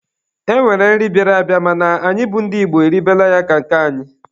E nwekwara nri bịara abịa mana anyị bụ ndị Igbo eribela ya ka nke anyị.